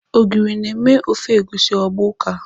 Ogiri na-eme ofe egusi agba ụka.